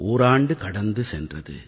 ஓராண்டு கடந்து சென்றது